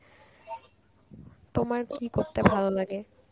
তোমার কী করতে ভালো লাগে?